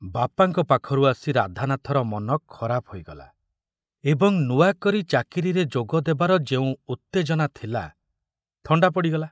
ବାପାଙ୍କ ପାଖରୁ ଆସି ରାଧାନାଥର ମନ ଖରାପ ହୋଇଗଲା ଏବଂ ନୂଆ କରି ଚାକିରିରେ ଯୋଗ ଦେବାର ଯେଉଁ ଉତ୍ତେଜନା ଥିଲା, ଥଣ୍ଡା ପଡ଼ିଗଲା।